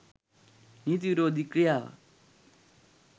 නීති විරෝධී ක්‍රියාවක්